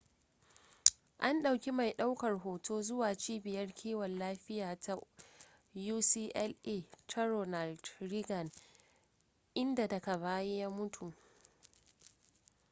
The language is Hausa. an ɗauki mai ɗaukar hoto zuwa cibiyar kiwon lafiya ta ucla ta ronald reagan idan daga baya ya mutu